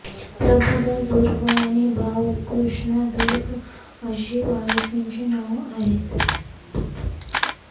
प्रभुदास धुर्वे आणि भाऊ कृष्णा धुर्वे अशी आरोपींची नावं आहेत